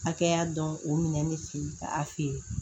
Hakɛya dɔn o minɛn bɛ fɛ ka a feere